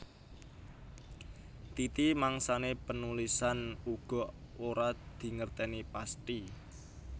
Titi mangsané panulisan uga ora dingertèni pasthi